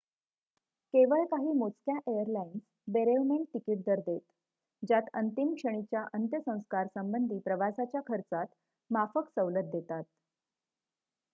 केवळ काही मोजक्या एयरलाईन्स बेरेवमेंट तिकीट दर देत ज्यात अंतिम क्षणीच्या अंत्यसंस्कारसंबंधी प्रवासाच्या खर्चात माफक सवलत देतात